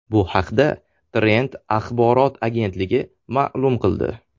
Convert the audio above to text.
Bu haqda Trend axborot agentligi ma’lum qildi .